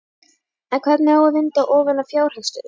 En hvernig á að vinda ofan af fjárhagsstöðunni?